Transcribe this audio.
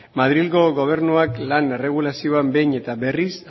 madrilgo gobernuak lan erregulazioa behin eta berriz